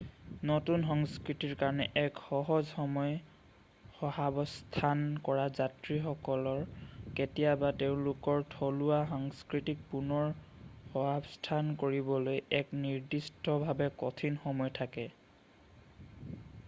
নতুন সংস্কৃতিৰ কাৰণে এক সহজ সময় সহাৱস্থান কৰা যাত্ৰীসকলৰ কেতিয়াবা তেওঁলোকৰ থলুৱা সংস্কৃতিক পুনৰ সহাৱস্থান কৰিবলৈ এক নিদিষ্টভাৱে কঠিন সময় থাকে৷